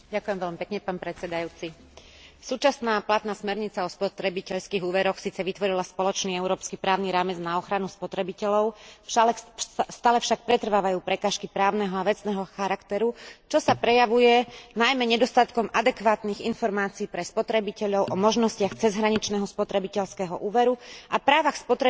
Súčasná platná smernica o spotrebiteľských úveroch síce vytvorila spoločný európsky právny rámec na ochranu spotrebiteľov, stále však pretrvávajú prekážky právneho a vecného charakteru, čo sa prejavuje najmä nedostatkom adekvátnych informácii pre spotrebiteľov o možnostiach cezhraničného spotrebiteľského úveru a právach spotrebiteľov pri uzatváraní takýchto zmlúv.